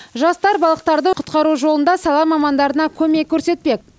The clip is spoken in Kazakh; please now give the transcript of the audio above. жастар балықтарды құтқару жолында сала мамандарына көмек көрсетпек